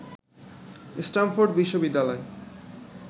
Stamford বিশ্ববিদ্যালয়